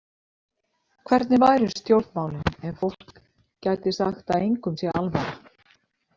Hvernig væru stjórnmálin ef fólk gæti sagt að engum sé alvara?